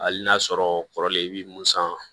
Hali n'a sɔrɔ kɔrɔlen i bɛ mun san